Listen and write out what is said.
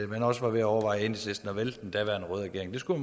man også var ved at overveje i enhedslisten at vælte den daværende røde regering det skulle